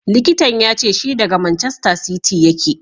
Likitan ya ce shi daga Manchester City yake.